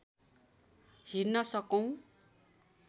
hidden सकौँ